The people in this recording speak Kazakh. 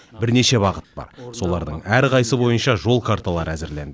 бірнеше бағыт бар солардың әрқайсысы бойынша жол карталары әзірленді